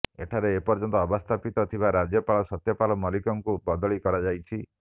ଏଠାରେ ଏପର୍ଯ୍ୟନ୍ତ ଅବସ୍ଥାପିତ ଥିବା ରାଜ୍ୟପାଳ ସତ୍ୟପାଲ ମଲ୍ଲିକଙ୍କୁ ବଦଳି କରାଯାଇଛି